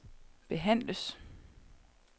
behandles